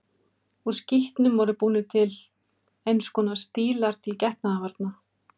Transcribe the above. Úr skítnum voru búnir til eins konar stílar til getnaðarvarna.